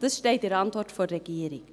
Das steht in der Antwort der Regierung.